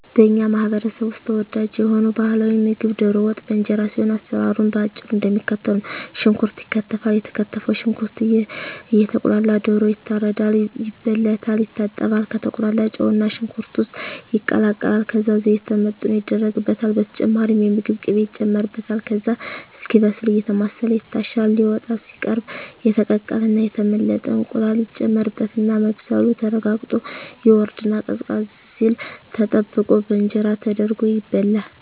በኛ ማህበረሰብ ውስጥ ተወዳጅ የሆነው ባህላዊ ምግብ ደሮ ወጥ በእንጀራ ሲሆን አሰራሩም በአጭሩ እደሚከተለው ነው። ሽንኩርት ይከተፋል የተከተፈው ሽንኩርት እየቁላላ ደሮ ይታረዳል፣ ይበለታል፣ ይታጠባል፣ ከተቁላላው ጨውና ሽንኩርት ውስጥ ይቀላቀላል ከዛ ዘይት ተመጥኖ ይደረግበታል በተጨማሪም የምግብ ቅቤ ይጨመርበታል ከዛ እስኪበስል አየተማሰለ ይታሻል ሊወጣ ሲቃረብ የተቀቀለና የተመለጠ እንቁላል ይጨመርበትና መብሰሉ ተረጋግጦ ይወርድና ቀዝቀዝ ሲል ተጠብቆ በእንጀራ ተደርጎ ይበላል።